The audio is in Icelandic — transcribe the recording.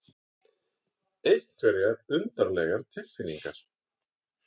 Einhverjar undarlegar tilfinningar.